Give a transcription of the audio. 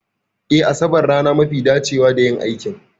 Eh Asabar rana mafi dacewa da yin aikin